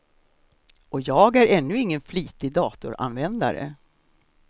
Och jag är ännu ingen flitig datoranvändare.